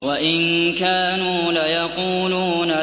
وَإِن كَانُوا لَيَقُولُونَ